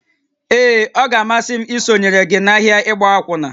Ee, ọ ga-amasị m isonyere gị n'ahịa ịgba akwụna